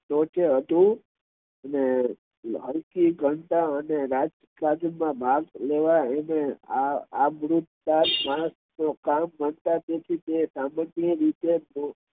ટોચે હતું અને સરખી કરતા રાજકાજ, માં ભાગ લેવા અને અબૃદાર માણસ નો કામ મળતા તેથી તે સામાન્ય રીતે